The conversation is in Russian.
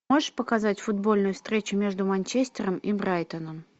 можешь показать футбольную встречу между манчестером и брайтоном